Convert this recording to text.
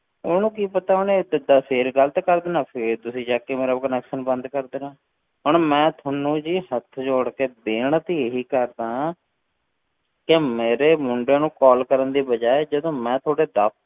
ਉਹਨੂੰ ਕੀ ਪਤਾ ਉਹਨੇ ਤਾਂ ਤਾਂ ਫਿਰ ਗ਼ਲਤ ਕਰ ਦੇਣਾ, ਫਿਰ ਤੁਸੀਂ ਚੁੱਕ ਕੇ ਮੇਰਾ connection ਬੰਦ ਕਰ ਦੇਣਾ, ਹੁਣ ਮੈਂ ਤੁਹਾਨੂੰ ਜੀ ਹੱਥ ਜੋੜ ਕੇ ਬੇਨਤੀ ਇਹੀ ਕਰਦਾਂ ਕਿ ਮੇਰੇ ਮੁੰਡੇ ਨੂੰ call ਕਰਨ ਦੀ ਬਜਾਏ ਜਦੋਂ ਮੈਂ ਤੁਹਾਡੇ ਦਫ਼~